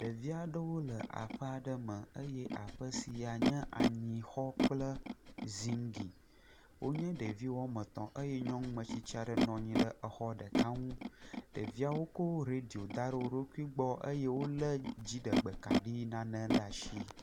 Ɖevi aɖewo le aƒe aɖe me eye aɔe sia nye anyixɔ kple zingli. Wonye ɖevi woame etɔ̃ eye nyɔnu metsitsi aɖe nɔ anyi ɖe exɔ ɖeka ŋu. Ɖeviawo kɔ reɖio da ɖe wo ɖokui gbɔ eye wolé dziɖegbe kaɖi nane le asi.